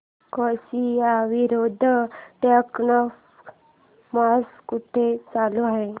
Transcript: Croatia विरुद्ध Denmark match कुठे चालू आहे